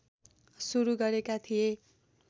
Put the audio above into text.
सुरू गरेका थिए